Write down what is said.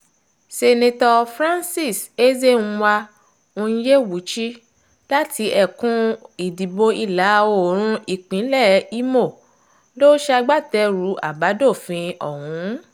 seneto francis ezenwa onyewuchi láti ẹkùn ìdìbò ìlà-oòrùn ìpínlẹ̀ ìmọ̀ ló ṣagbátẹrù àbádòfin ọ̀hún